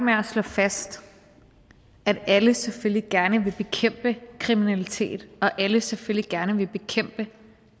med at slå fast at alle selvfølgelig gerne vil bekæmpe kriminalitet og at alle selvfølgelig gerne vil bekæmpe